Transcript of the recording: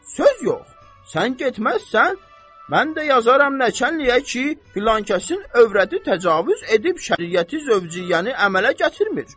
Söz yox, sən getməzsən, mən də yazaram nəçənliyiə ki, filankəsin övrəti təcavüz edib şəriəti zövcüyəni əmələ gətirmir.